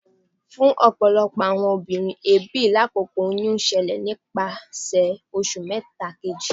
Fun ọpọlọpọ awọn obinrin, eebi lakoko oyun n lọ silẹ nipasẹ oṣu mẹta keji.